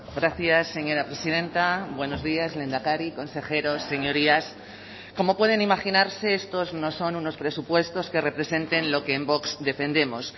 gracias señora presidenta buenos días lehendakari consejeros señorías como pueden imaginarse estos no son unos presupuestos que representen lo que en vox defendemos